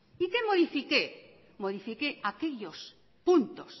y qué modifiqué modifiqué aquellos puntos